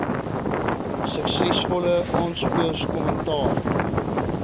suksesvolle aansoekers kommentaar